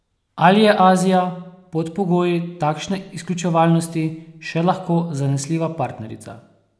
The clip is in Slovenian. Ali je Azija pod pogoji takšne izključevalnosti še lahko zanesljiva partnerica?